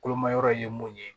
Kolomayɔrɔ ye mun ye